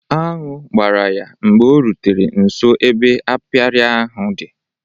Añụ gbara ya mgbe o rutere nso ebe apịary ahụ di